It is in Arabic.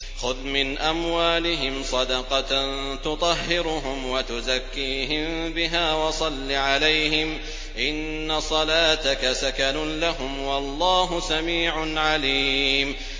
خُذْ مِنْ أَمْوَالِهِمْ صَدَقَةً تُطَهِّرُهُمْ وَتُزَكِّيهِم بِهَا وَصَلِّ عَلَيْهِمْ ۖ إِنَّ صَلَاتَكَ سَكَنٌ لَّهُمْ ۗ وَاللَّهُ سَمِيعٌ عَلِيمٌ